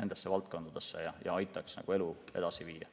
nendesse valdkondadesse ja aitab elu edasi viia.